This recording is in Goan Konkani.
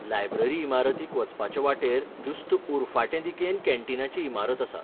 लायब्ररी इमारतीक वचपाचे वाटेर जुस्त उरफाटें दिकेन कॅन्टीनाची इमारत आसा.